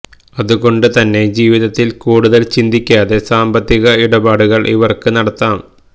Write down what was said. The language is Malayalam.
അതുകൊണ്ട് തന്നെ ജീവിതത്തില് കൂടുതല് ചിന്തിക്കാതെ സാമ്പത്തിക ഇടപാടുകള് ഇവര്ക്ക് നടത്താം